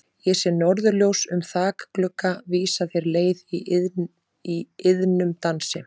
Ég sé norðurljós um þakglugga vísa þér leið í iðnum dansi.